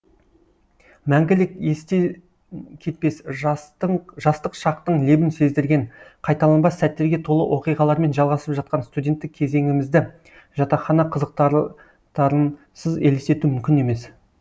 мәңгілік естен кетпес жастық шақтың лебін сездірген қайталанбас сәттерге толы оқиғалармен жалғасып жатқан студеттік кезеңімізді жатақхана қызықтарынсыз елестету мүмкін емес